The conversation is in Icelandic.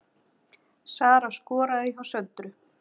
Sara skoraði hjá Söndru